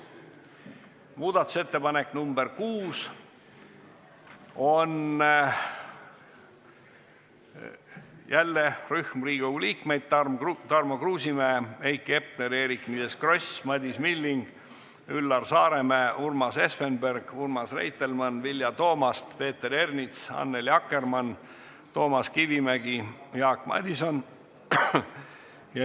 Ka muudatusettepaneku nr 6 on esitanud rühm Riigikogu liikmeid: Tarmo Kruusimäe, Heiki Hepner, Eerik-Niiles Kross, Madis Milling, Üllar Saaremäe, Urmas Espenberg, Urmas Reitelmann, Vilja Toomast, Peeter Ernits, Annely Akkermann, Toomas Kivimägi ja Jaak Madison.